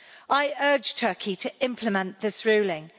I urge Turkey to implement this ruling.